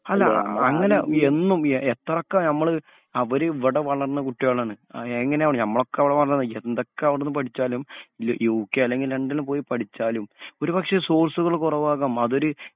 അല്ല അ അ അങ്ങനെ എന്നും എത്രൊക്കെ നമ്മള് അവര് ഇവടെ വളർന്ന കുട്ടികളാണ്. അ എങ്ങനെവണി ഞമ്മളൊക്കെ ഇവളെ വന്നതാ എന്തൊക്കെ അവിടുന്ന് പഠിച്ചാലും ലു യു കെ അല്ലെങ്കി ലണ്ടനിൽ പോയി പഠിച്ചാലും ഒരുപക്ഷേ സോഴ്സുകള് കൊറവാകാം അതൊരു